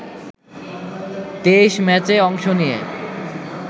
২৩ম্যাচে অংশ নিয়ে